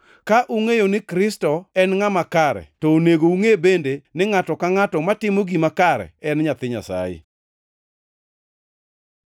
Ka ungʼeyo ni Kristo en ngʼama kare to onego ungʼe bende ni ngʼato ka ngʼato matimo gima kare en nyathi Nyasaye.